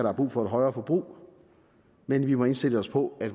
har brug for et højere forbrug men vi må indstille os på at